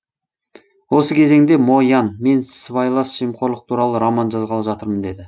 осы кезеңде мо ян мен сыбайлас жемқорлық туралы роман жазғалы жатырмын деді